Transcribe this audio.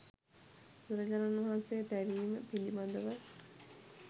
බුදුරජාණන් වහන්සේ තැවීම පිළිබඳව